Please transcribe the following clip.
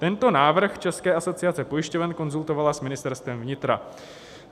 Tento návrh České asociace pojišťoven konzultovala s Ministerstvem vnitra.